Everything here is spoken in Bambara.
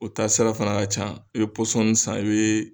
U taa sira fana ka ca, i bɛ pɔsɔnin san, i bɛ.